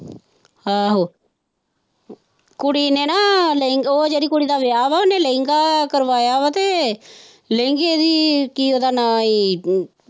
ਆਹੋ ਕੁੜੀ ਨੇ ਨਾ ਉਹ ਜਿਹੜੀ ਕੁੜੀ ਦਾ ਵਿਆਹ ਵਾ ਉਹਨੇ ਲਹਿੰਗਾ ਕਰਵਾਇਆ ਵਾ ਤੇ ਲਹਿੰਗੇ ਨੀ ਕੀ ਉਹਦਾ ਨਾਂ ਏ।